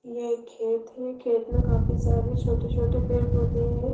ये एक खेत हैं खेत में काफी सारे छोटे-छोटे पेड़ पौधे हैं।